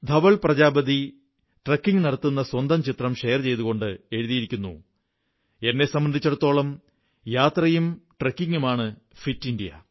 Dhaval Prajapati trekking നടത്തുന്ന സ്വന്തം ചിത്രം ഷെയർ ചെയ്തുകൊണ്ട് എഴുതിയിരിക്കുന്നു എന്നെ സംബന്ധിച്ചിടത്തോളം യാത്രയും ട്രക്കിംഗുമാണ് ഫിറ്റ് ഇന്ത്യ